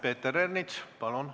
Peeter Ernits, palun!